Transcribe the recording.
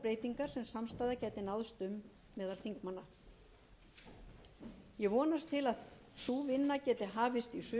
breytingar sem samstaða gæti náðst um meðal þingmanna ég vonast til þess að sú vinna geti hafist